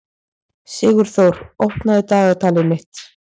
Sigurþór, opnaðu dagatalið mitt.